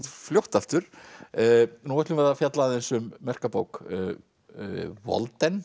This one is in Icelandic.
fljótt aftur nú ætlum við að fjalla aðeins um merka bók